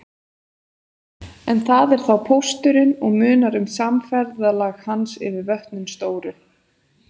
En það er þá pósturinn og munar um samferðalag hans yfir vötnin stóru.